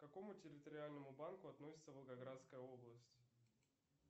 к какому территориальному банку относится волгоградская область